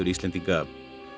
Íslendinga